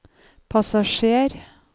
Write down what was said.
passasjer